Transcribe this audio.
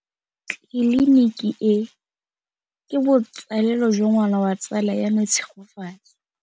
Tleliniki e, ke botsalêlô jwa ngwana wa tsala ya me Tshegofatso.